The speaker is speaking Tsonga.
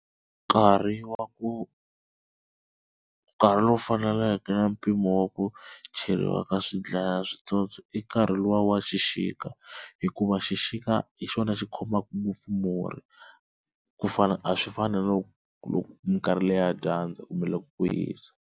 Nkarhi wa ku nkarhi lowu faneleke na mpimo wa ku cheriwa ka swi dlaya switsotswana i nkarhi luwa wa xixika hikuva xixika hi xona xi khomaka ngopfu murhi ku fana a swi fani na na loko minkarhi leyi ya dyandza kumbe loko ku hisa.